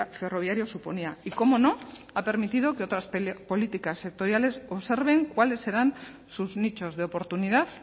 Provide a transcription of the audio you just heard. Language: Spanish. ferroviario suponía y cómo no ha permitido que otras políticas sectoriales observen cuáles serán sus nichos de oportunidad